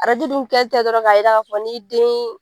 Arajo dun tɛ dɔrɔn k'a jira k'a fɔ n'i den